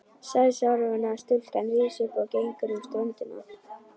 Sæsorfna stúlkan rís upp og gengur um ströndina.